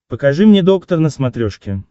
покажи мне доктор на смотрешке